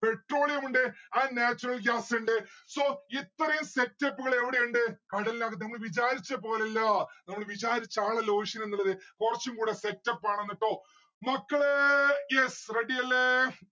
petrolleum ഉണ്ട് and natural gases ഇണ്ട് so ഇത്രയും setup ഉകൾ എവിടെ ഇണ്ട് കടലിനകത്ത് നമ്മൾ വിചാരിച്ച പോലെ അല്ല നമ്മള് വിചാരിച്ച ആളല്ല ocean എന്നുള്ളത് കൊറച്ചും കൂടെ setup ആണ് ട്ടോ. മക്കളെ yes. ready അല്ലെ